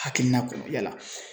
Hakilina kɔnɔ yala?